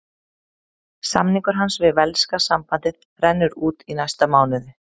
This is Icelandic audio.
Samningur hans við velska sambandið rennur út í næsta mánuði.